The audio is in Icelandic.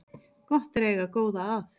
Gott er að eiga góða að